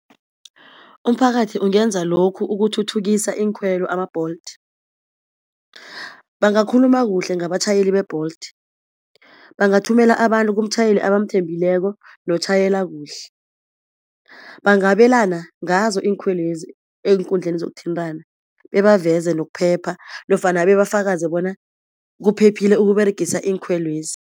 Umphakathi ungenza lokhu ukuthuthukisa iinkhwelo ama-Bolt. Bangakhuluma kuhle ngabatjhayeli be-Bolt. Bangathumela abantu kumtjhayeli abamthembileko notjhayela kuhle. Bangabelana ngazo iinkhwelo lezi eenkundleni zokuthintana bebaveze nokuphepha nofana bebafakaze bona kuphephile ukUberegisa iinkhwelo lezi.